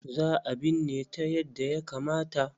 Za a binne ta yadda ya kamata.